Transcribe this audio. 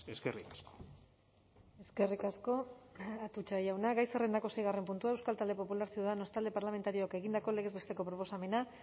eskerrik asko eskerrik asko atutxa jauna gai zerrendako seigarren puntua euskal talde popularra ciudadanos talde parlamentarioak egindako legez besteko proposamena